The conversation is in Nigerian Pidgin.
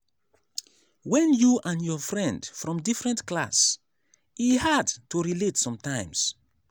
when you and your friend from different class e hard to relate sometimes.